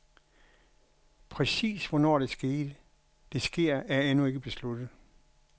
Præcis hvornår det sker, er endnu ikke besluttet.